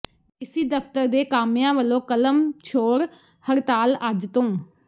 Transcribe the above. DC ਦਫ਼ਤਰ ਦੇ ਕਾਮਿਆਂ ਵੱਲੋਂ ਕਲਮ ਛੋੜ ਹੜਤਾਲ ਅੱਜ ਤੋਂ